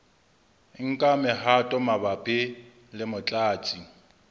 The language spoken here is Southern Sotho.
nka mehato mabapi le motlatsi